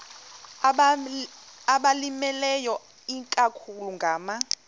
abalimileyo ikakhulu ngama